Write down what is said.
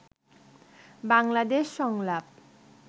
বাংলাদেশ সংলাপ